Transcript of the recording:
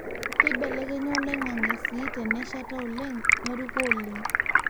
keibelekenya oloingange sii teneshata oleng neruko oleng